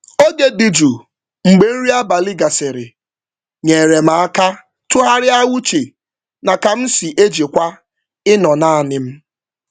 Oge um dị jụụ mgbe nri abalị gasịrị nyere um m aka tụgharịa uche um na ka m si ejikwa ịnọ naanị m.